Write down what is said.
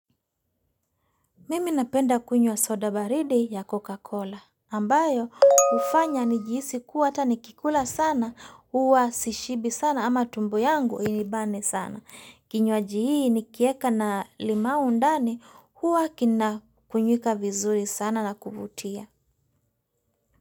Mimi napenda kunywa soda baridi ya Coca-Cola, ambayo hufanya nijihisi kuwa hata nikikula sana, huwa sishibi sana ama tumbo yangu inibane sana. Kinywaji hii nikieka na limau ndani, huwa kinakunywika vizuri sana na kuvutia.